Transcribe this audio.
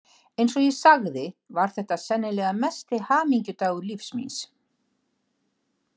Eins og ég sagði var þetta sennilega mesti hamingudagur lífs míns.